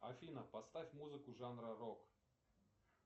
афина поставь музыку жанра рок